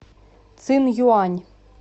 цинъюань